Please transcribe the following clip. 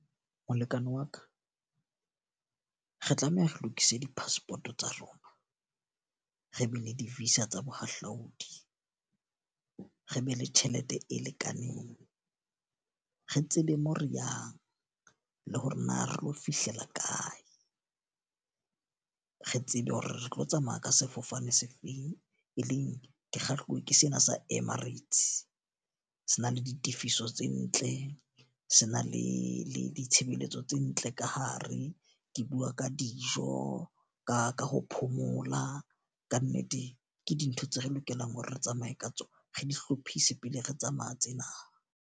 Molekane wa ka, re tlameha re lokise di-passport tsa rona re be le di-visa tsa bohahlaudi. Re be le tjhelete e lekaneng. Re tsebe moo re yang le hore na re lo fihlela kae. Re tsebe hore re tlo tsamaya ka sefofane se feng, e leng ke kgahluwe ke sena sa Amariots se na le ditefiso tse ntle, se na le le ditshebeletso tse ntle ka hare. Ke bua ka dijo, ka ka ho phomola. Ka nnete ke dintho tse re lokelang hore re tsamaye ka tsona. Re di hlophise pele re tsamaya tsena.